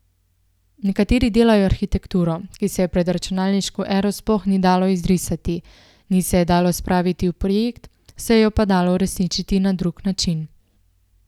Nekateri delajo arhitekturo, ki se je pred računalniško ero sploh ni dalo izrisati, ni se je dalo spraviti v projekt, se jo je pa dalo uresničiti na drug način.